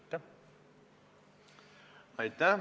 Aitäh!